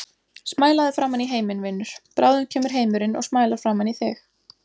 Smælaðu framan í heiminn, vinur, bráðum kemur heimurinn og smælar framan í þig.